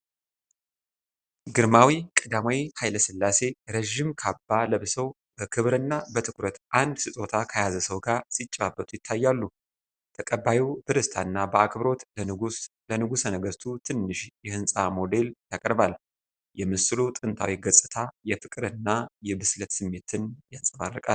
ግርማዊ ቀዳማዊ ኃይለ ሥላሴ ረዥም ካባ ለብሰው፣ በክብርና በትኩረት አንድ ስጦታ ከያዘ ሰው ጋር ሲጨዋወቱ ይታያሉ። ተቀባዩ በደስታ እና በአክብሮት ለንጉሠ ነገሥቱ ትንሽ የሕንፃ ሞዴል ያቀርባል። የምስሉ ጥንታዊ ገጽታ የፍቅር እና የብስለት ስሜትን ያንጸባርቃል።